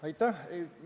Aitäh!